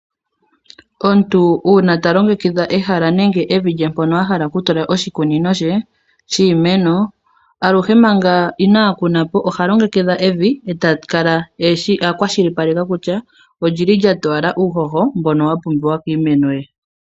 Omuntu uuna ta longekidha ehala nenge evi lye mpono a hala okutula oshikunino she shiimeno, aluhe manga inaa kuna po oha longekidha evi eta kala a kwashilipaleka kutya oli li lya towala uuhoho mbono wa pumbiwa kiimeno ye.